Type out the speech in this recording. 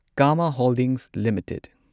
Kama holdings limited